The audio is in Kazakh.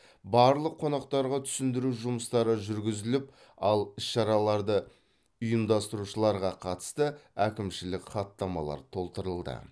барлық қонақтарға түсіндіру жұмыстары жүргізіліп ал іс шараларды ұйымдастырушыларға қатысты әкімшілік хаттамалар толтырылды